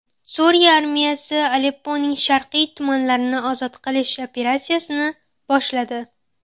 Suriya armiyasi Alepponing sharqiy tumanlarini ozod qilish operatsiyasini boshladi.